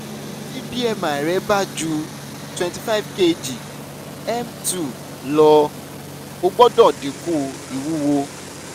ti bmi rẹ ba ju twenty five kg m two lọ, o gbọdọ dinku iwuwo